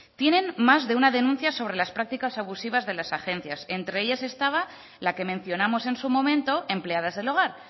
tienen más de una denuncia sobre las prácticas abusivas de las agencias entre ellas estaba la que mencionamos en su momento empleadas del hogar